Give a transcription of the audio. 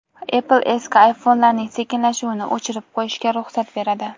Apple eski iPhone’larning sekinlashuvini o‘chirib qo‘yishga ruxsat beradi.